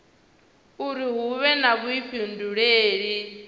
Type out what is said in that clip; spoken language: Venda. uri hu vhe na vhuifhinduleli